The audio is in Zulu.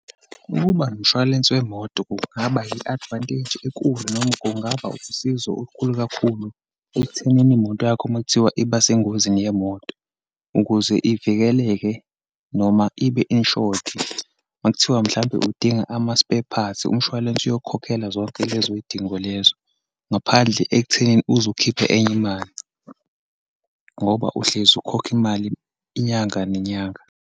Ukuba nomshwalense wemoto kungaba yi-advantage enkulu, noma kungaba usizo olukhulu kakhulu ekuthenini imoto yakho uma kuthiwa iba sengozini yemoto. Ukuze ivikeleke, noma ibe-insured uma kuthiwa, mhlampe udinga ama-spare parts, umshwalense uzokhokhela zonke lezo yidingo lezo, ngaphandle ekutheni uze ukhiphe enye imali, ngoba uhlezi ukhokha imali inyanga nenyanga.